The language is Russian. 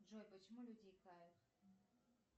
джой почему люди икают